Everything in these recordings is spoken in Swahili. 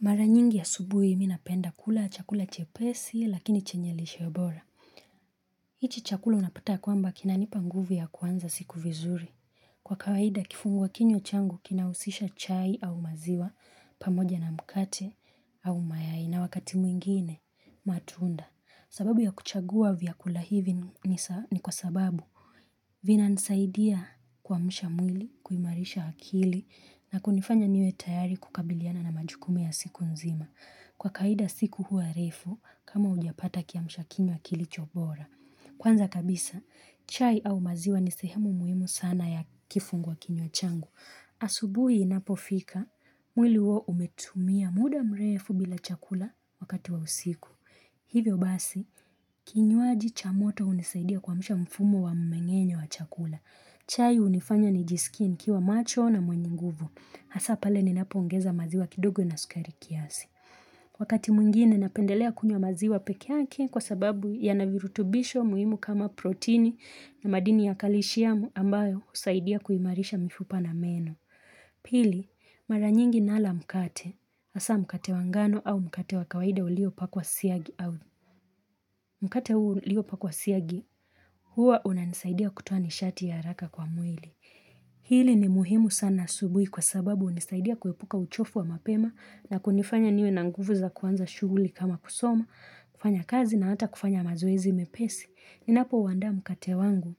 Mara nyingi asubuhi mi napenda kula chakula chepesi lakini chenye lishe bora. Hichi chakula unapatanga ya kwamba kinanipa nguvu ya kuanza siku vizuri. Kwa kawaida kifungua kinywa changu kinahusisha chai au maziwa pamoja na mkate au mayai na wakati mwingine matunda. Sababu ya kuchagua vyakula hivi ni kwa sababu vinanisaidia kuamsha mwili, kuimarisha akili na kunifanya niwe tayari kukabiliana na majukumu ya siku nzima. Kwa kawaida siku huwa refu, kama hujapata kiamsha kinywa kilicho bora. Kwanza kabisa, chai au maziwa ni sehemu muhimu sana ya kifungua kinywa changu. Asubuhi inapofika, mwili huwa umetumia muda mrefu bila chakula wakati wa usiku. Hivyo basi, kinywaji cha moto hunisaidia kuamsha mfumo wa mmeng'enyo wa chakula. Chai hunifanya nijisikie nikiwa macho na mwenye nguvu. Hasa pale ni napoongeza maziwa kidogo na sukari kiasi. Wakati mwingine napendelea kunywa maziwa peke yake kwa sababu yana virutubisho muhimu kama protini na madini ya kalishiamu ambayo husaidia kuimarisha mifupa na meno. Pili, mara nyingi nala mkate, hasa mkate wa ngano au mkate wa kawaida uliopakwa siagi au mkate uliopakwa siagi huwa unanisaidia kutoa nishati ya haraka kwa mwili. Hili ni muhimu sana asubuhi kwa sababu hunisaidia kuepuka uchovu wa mapema na kunifanya niwe na nguvu za kuanza shughuli kama kusoma, kufanya kazi na hata kufanya mazoezi mepesi. Ninapouandaa mkate wangu,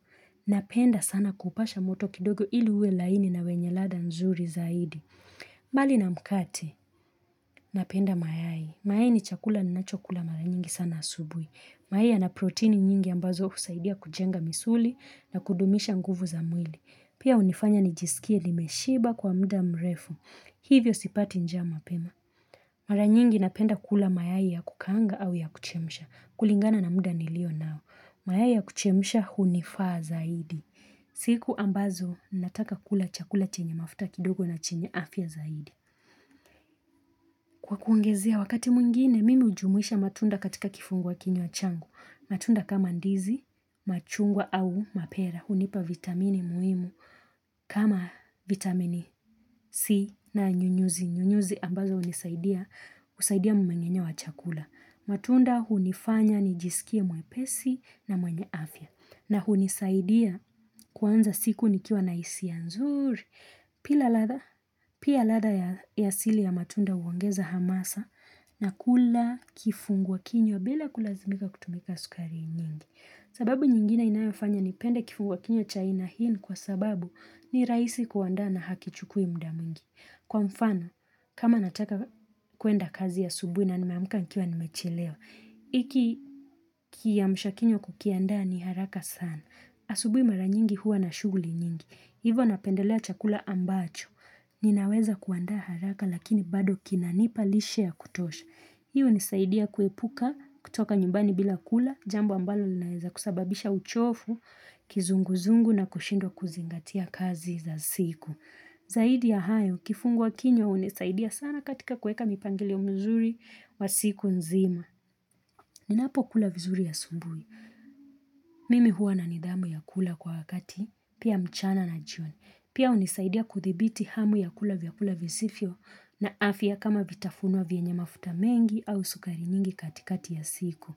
napenda sana kupasha moto kidogo ili uwe laini na wenye ladha nzuri zaidi. Mbali na mkate, napenda mayai. Mayai ni chakula ninachokula mara nyingi sana asubuhi. Mayai yana proteini nyingi ambazo husaidia kujenga misuli na kudumisha nguvu za mwili. Pia hunifanya nijisikie nimeshiba kwa muda mrefu. Hivyo sipati njaa mapema. Mara nyingi napenda kula mayai ya kukaanga au ya kuchemsha. Kulingana na muda nilio nao. Mayai ya kuchemsha hunifaa zaidi. Siku ambazo ninataka kula chakula chenye mafuta kidogo na chenye afya zaidi. Kwa kuongezea, wakati mwingine, mimi hujumuisha matunda katika kifungua kinywa changu. Matunda kama ndizi, machungwa au mapera. Hunipa vitamini muhimu kama vitamini C na nyunyuzi. Nyunyuzi ambazo hunisaidia. Husaidia mmeng'enyo wa chakula. Matunda hunifanya nijisikie mwepesi na mwenye afya. Na hunisaidia kuanza siku nikiwa na hisia nzuri. Pia ladha ya asili ya matunda huongeza hamasa na kula kifunguwa kinywa bila kulazimika kutumika sukari nyingi. Sababu nyingine inayofanya nipende kifungua kinywa cha aina hii ni kwa sababu ni rahisi kuandaa na hakichukui muda mwingi. Kwa mfano, kama nataka kuenda kazi asubuhi na nimeamka nikiwa nimechelewa, hiki kiamsha kinywa kukiandaa ni haraka sana. Asubuhi mara nyingi huwa na shughuli nyingi. Hivo napendelea chakula ambacho. Ninaweza kuandaa haraka lakini bado kinanipa lishe ya kutosha. Hii hunisaidia kuepuka kutoka nyumbani bila kula, jambo ambalo linaeza kusababisha uchofu, kizunguzungu na kushindwa kuzingatia kazi za siku. Zaidi ya hayo, kifungua kinywa hunisaidia sana katika kuweka mipangilio mzuri wa siku nzima. Ninapokula vizuri asubuhi. Mimi huwa na nidhamu ya kula kwa wakati pia mchana na jioni. Pia hunisaidia kuthibiti hamu ya kula vyakula visivyo na afya kama vitafunwa vyenye mafuta mengi au sukari nyingi katikati ya siku.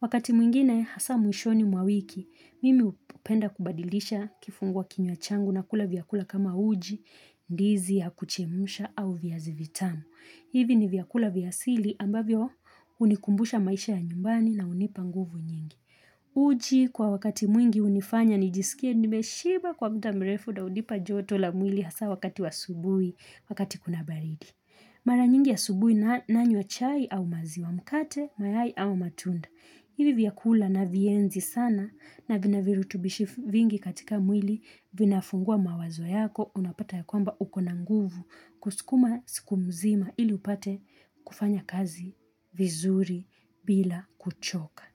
Wakati mwingine hasa mwishoni mwa wiki, mimi hupenda kubadilisha kifungua kinywa changu na kula vyakula kama uji, ndizi ya kuchemusha au viazi vitamu. Hivi ni vyakula vya asili ambavyo hunikumbusha maisha ya nyumbani na hunipa nguvu nyingi. Uji kwa wakati mwingi hunifanya nijisikie nimeshiba kwa muda mrefu na hunipa joto la mwili hasa wakati wa asubuhi wakati kuna baridi. Mara nyingi asubuhi nanywa chai au maziwa mkate, mayai au matunda. Hivi vyakula naivienzi sana na vina virutubisho vingi katika mwili, vinafungua mawazo yako unapata ya kwamba ukona nguvu kusukuma siku mzima ili upate kufanya kazi vizuri bila kuchoka.